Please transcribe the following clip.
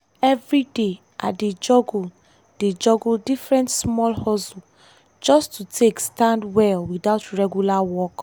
every day i dey juggle dey juggle different small hustle just to take stand well without regular work.